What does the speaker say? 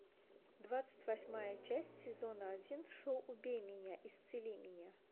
двадцать восьмая часть сезона один шоу убей меня исцели меня